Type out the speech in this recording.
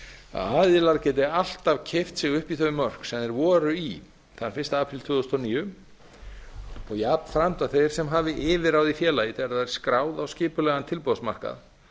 að aðilar geti alltaf keypt sig upp í þau mörk sem þeir voru í þann fyrsta apríl tvö þúsund og níu og jafnframt að þeir sem hafi yfirráð í félagi þegar það er skráð á skipulegan tilboðsmarkað